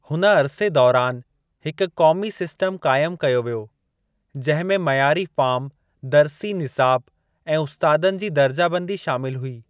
हुन अरसे दौरानि हिकु क़ोमी सिस्टम क़ाइमु कयो वियो जंहिं में मइयारी फ़ार्म दर्सी निसाब ऐं उस्तादनि जी दर्जाबंदी शामिलु हुई।